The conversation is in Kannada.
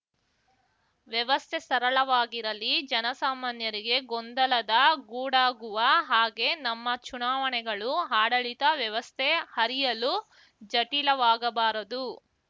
ವ್ಯವಸ್ಥೆ ಸರಳವಾಗಿರಲಿ ಜನಸಾಮಾನ್ಯರಿಗೆ ಗೊಂದಲದ ಗೂಡಾಗುವ ಹಾಗೆ ನಮ್ಮ ಚುನಾವಣೆಗಳುಆಡಳಿತ ವ್ಯವಸ್ಥೆ ಅರಿಯಲು ಜಟಿಲವಾಗಬಾರದು